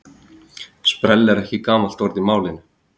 Sprell er ekki gamalt orð í málinu.